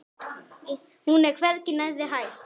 Hún er hvergi nærri hætt.